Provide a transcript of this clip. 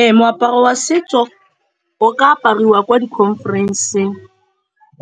Ee, moaparo wa setso o ka apariwa ko di-conference-eng